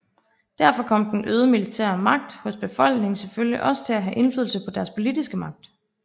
Derfor kom den øgede militære magt hos befolkningen selvfølgelig også til at have en indflydelse på deres politiske magt